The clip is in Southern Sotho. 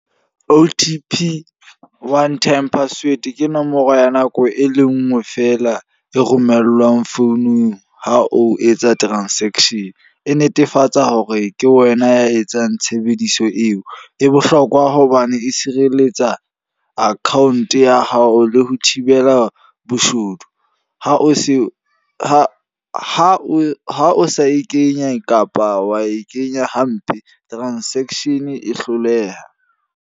O_T_P, one time password. Ke nomoro ya nako e le nngwe fela e romellwang founung ha o etsa transaction. E netefatsa hore ke wena ya etsang tshebediso eo. E bohlokwa hobane e sireletsa account ya hao, le ho thibela boshodu. Ha o sa e kenye kapa wa e kenya hampe transaction e hloleha.